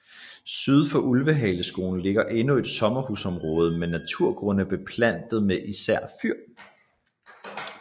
Syd for Ulvshaleskoven ligger endnu et sommerhusområde med naturgrunde beplantet med især fyr